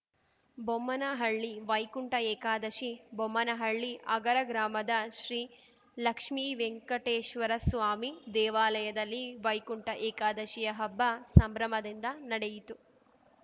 ಬೊಮ್ಮನಹಳ್ಳಿವೈಕುಂಠ ಏಕಾದಶಿ ಬೊಮ್ಮನಹಳ್ಳಿ ಅಗರ ಗ್ರಾಮದ ಶ್ರೀಲಕ್ಷ್ಮಿ ವೆಂಕಟೇಶ್ವರ ಸ್ವಾಮಿ ದೇವಾಲಯದಲ್ಲಿ ವೈಕುಂಠ ಏಕಾದಶಿ ಹಬ್ಬ ಸಂಭ್ರಮದಿಂದ ನಡೆಯಿತು